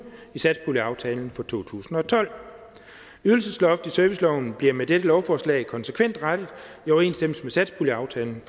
i satspuljeaftalen fra to tusind og tolv ydelsesloftet i serviceloven bliver med dette lovforslag konsekvent rettet i overensstemmelse med satspuljeaftalen